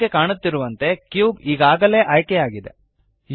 ನಿಮಗೆ ಕಾಣುತ್ತಿರುವಂತೆ ಕ್ಯೂಬ್ ಈಗಾಗಲೇ ಆಯ್ಕೆ ಆಗಿದೆ